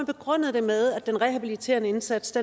begrundet det med at den rehabiliterende indsats